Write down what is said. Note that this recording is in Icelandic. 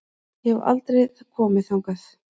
Ég hef aldrei komið þangað.